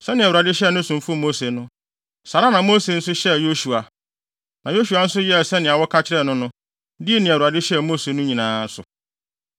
Sɛnea Awurade hyɛɛ ne somfo Mose no, saa ara na Mose nso hyɛɛ Yosua. Na Yosua nso yɛɛ sɛnea wɔka kyerɛɛ no no, dii nea Awurade hyɛɛ Mose no nyinaa so.